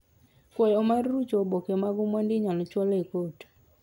Kwayo mar rucho oboke mag mwandu inyal chwal e kot.